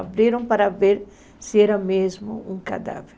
Abriram para ver se era mesmo um cadáver.